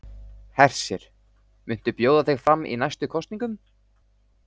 Hersir: Muntu bjóða þig fram í næstu kosningum?